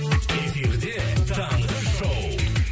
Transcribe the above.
эфирде таңғы шоу